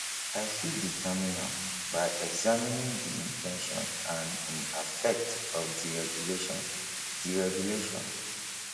i fit determine am by examining di in ten tion and um affect of di regulation di regulation